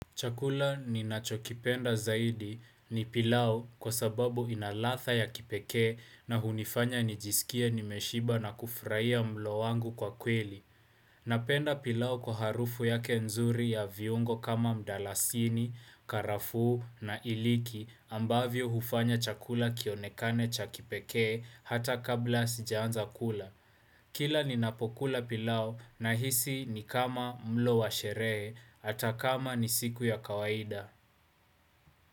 Chakula ninachokipenda zaidi ni pilau kwa sababu ina radha ya kipekee na hunifanya nijisikie nimeshiba na kufurahia mlo wangu kwa kweli. Napenda pilau kwa harufu yake nzuri ya viungo kama mdarasini, karafuu na iliki ambavyo hufanya chakula kionekane cha kipekee hata kabla sijaanza kula. Kila ninapokula pilau nahisi ni kama mlo wa sherehe, hata kama ni siku ya kawaida.